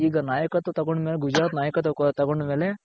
ಈಗ ನಾಯಕತ್ವ ತಗೊಂಡ್ ಮೇಲೆ ಗುಜರಾತ್ ನಾಯಕತ್ವ ತಗೊಂಡ್ ಮೇಲೆ.